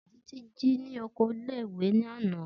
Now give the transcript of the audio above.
Titi ji ni oko ìle-ìwe lana.